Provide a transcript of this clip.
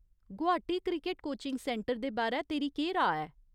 Guwahati cricket coaching centre दे बारै तेरी केह्‌‌ राऽ ऐ ?